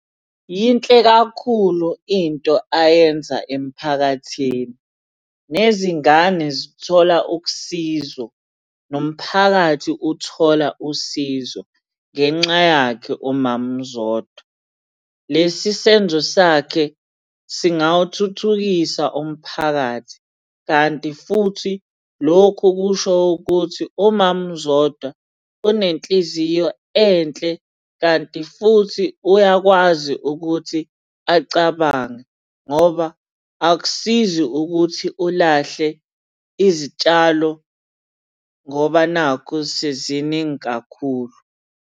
Yinhle kakhulu into ayenza emphakathini. Nezingane zithola ukusizo. Nomphakathi uthola usizo ngenxa yakhe umama uZodwa. Lesi senzo sakhe singawuthuthukisa umphakathi, kanti futhi lokhu kusho ukuthi umama uZodwa unenhliziyo enhle kanti futhi uyakwazi ukuthi acabange, ngoba akusizi ukuthi ulahle izitshalo ngoba nakhu seziningi kakhulu.